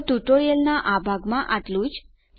તો ટ્યુટોરીયલનાં આ ભાગમાં આટલું જ છે